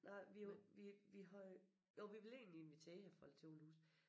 Nej vi jo vi vi havde jo vi ville egentlig invitere folk til åbent hus